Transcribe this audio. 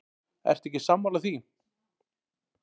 Ertu ekki sammála því?